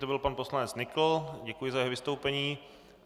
To byl pan poslanec Nykl, děkuji za jeho vystoupení.